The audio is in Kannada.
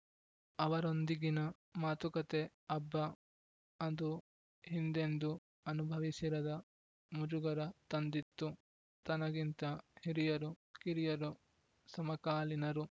ಅವರೊಂದಿಗಿನ ಮಾತುಕತೆ ಅಬ್ಬ ಅದು ಹಿಂದೆಂದೂ ಅನುಭವಿಸಿರದ ಮುಜುಗರ ತಂದಿತ್ತು ತನಗಿಂತ ಹಿರಿಯರು ಕಿರಿಯರು ಸಮಕಾಲೀನರು